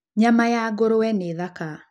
Nyama ya ngũrũwe nĩ thaka.